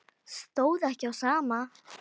Stóð ekki á sama.